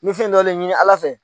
N min fin dɔ de ɲini Ala fɛ